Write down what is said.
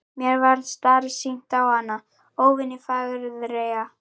Mér varð starsýnt á hana, óvenju fagureyga.